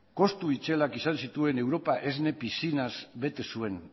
kostu itzelak izan zituen europa esne piszinaz bete zuen